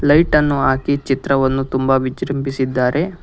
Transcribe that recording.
ಟೈಟನ್ನು ಹಾಕಿ ಚಿತ್ರವನ್ನು ತುಂಬಾ ವಿಜೃಂಭಿಸಿದ್ದಾರೆ.